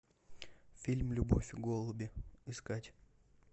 фильм любовь и голуби искать